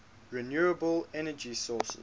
renewable energy sources